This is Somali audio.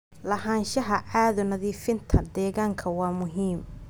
Lahaanshaha caado nadiifinta deegaanka waa muhiim.